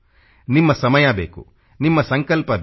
ನಿಮ್ಮ ಸಮಯ ಬೇಕು ನಿಮ್ಮ ಸಂಕಲ್ಪಬೇಕು